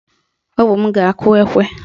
Ọ bụ m ga-akụ ekwe